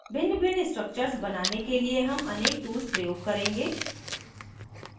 भिन्नभिन्न structures बनाने के लिए हम अनेक tools प्रयोग करेंगे